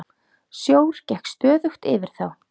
Sjór gekk stöðugt yfir þá.